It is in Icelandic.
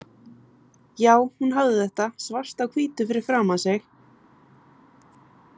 Jú, hún hafði þetta svart á hvítu fyrir framan sig.